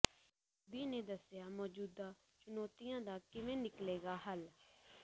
ਮੋਦੀ ਨੇ ਦੱਸਿਆ ਮੌਜੂਦਾ ਚੁਣੌਤੀਆਂ ਦਾ ਕਿਵੇਂ ਨਿੱਕਲੇਗਾ ਹੱਲ